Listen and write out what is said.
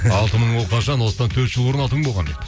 алты мың ол қашан осыдан төрт жыл бұрын алты мың болған деп